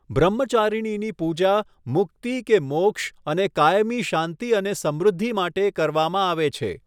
બ્રહ્મચારિણીની પૂજા મુક્તિ કે મોક્ષ અને કાયમી શાંતિ અને સમૃદ્ધિ માટે કરવામાં આવે છે.